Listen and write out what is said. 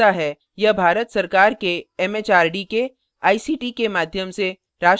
यह भारत सरकार एमएचआरडी के आईसीटी के माध्यम से राष्ट्रीय साक्षरता mission द्वारा समर्थित है